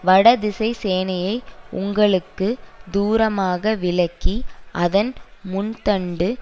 வடதிசைச்சேனையை உங்களுக்கு தூரமாக விலக்கி அதன் முன் தண்டு